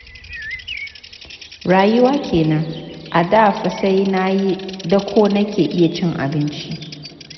Rayuwa kenan, a da fa sai na yi dako nake iya cin abinci.